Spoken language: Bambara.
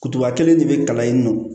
Kutuba kelen de bɛ kalan yen nɔ